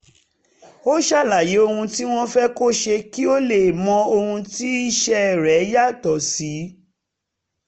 ó ṣàlàyé ohun tí wọ́n fẹ́ kó ṣe kí ó lè mọ ohun tí iṣẹ́ rẹ̀ yàtọ̀ sí